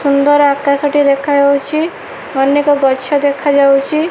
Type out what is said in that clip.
ସୁନ୍ଦର୍ ଆକାଶ ଟିଏ ଦେଖାଯାଉଚି। ଅନେକ ଗଛ ଦେଖାଯାଉଚି।